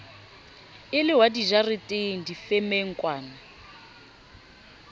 e le wa dijareteng difemengkwana